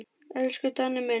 Elsku Danni minn.